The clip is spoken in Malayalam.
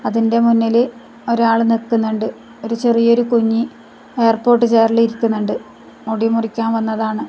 അതിൻ്റെ മുന്നില് ഒരാള് നിക്കുന്നുണ്ട് ഒരു ചെറിയ ഒരു കുഞ്ഞി ഹെയർപോട്ട് ചെയറിൽ ഇരിക്കുന്നുണ്ട് മുടി മുറിക്കാൻ വന്നതാണ്.